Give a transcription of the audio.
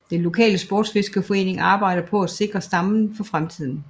Den lokale sportsfiskerforening arbejder på at sikre stammen for fremtiden